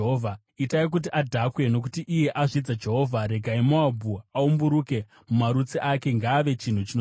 “Itai kuti adhakwe, nokuti iye azvidza Jehovha. Regai Moabhu aumburuke mumarutsi ake; ngaave chinhu chinosekwa.